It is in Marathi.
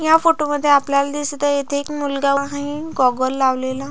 या फोटो मध्ये आपल्याला दिसत आहे इथे एक मुलगा आहे गॉगल लावलेला.